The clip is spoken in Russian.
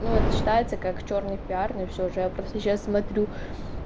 ну вот считается как чёрный пиар но и всё же я просто сейчас смотрю